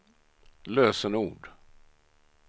lösenord